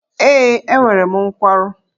Ee, enwere m nkwarụ.